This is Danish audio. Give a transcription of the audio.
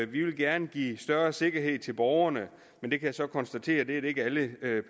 vi gerne give større sikkerhed til borgerne men jeg kan så konstatere at det er det ikke alle